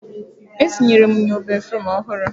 E tinyere m nnyo béfrụm ọhụrụ.